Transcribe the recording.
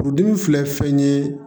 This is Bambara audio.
Furudimi filɛ fɛn ye